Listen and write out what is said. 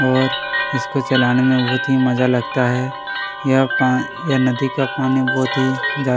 और इस को चलाने में बहुत ही मजा लगता है यह पा यह नदी का पानी बहुत ही ज्यादा --